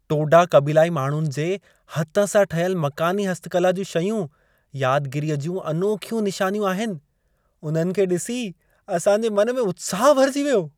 टोडा क़बीलाई माण्हुनि जे हथ सां ठहियल मक़ानी हस्तकला जूं शयूं यादगीरीअ जूं अनोखियूं निशानियूं आहिनि। उन्हनि खे ॾिसी असां जे मन में उत्साह भरिजी वियो।